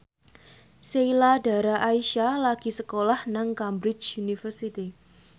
Sheila Dara Aisha lagi sekolah nang Cambridge University